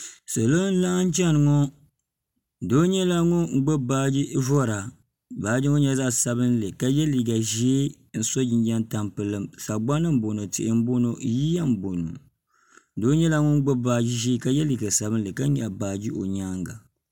salo n laɣam chɛni ŋo doo nyɛla ŋun gbubi baaji vora baaji ŋo nyɛla zaɣ sabinli ka yɛ liiga ʒiɛ n so jinjɛm tampilim sagbana n boŋo tihi n boŋo yiya n boŋo doo nyɛla ŋun gbubi baaji ʒiɛ ka yɛ liiga sabinli ka nyaɣa baaji o nyaanga